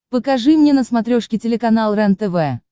покажи мне на смотрешке телеканал рентв